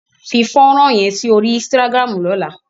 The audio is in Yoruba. Fi fónrán yẹn sí orí Instagram lọ́la!